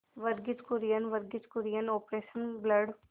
Verghese Kurien Varghese Kurien Operation blood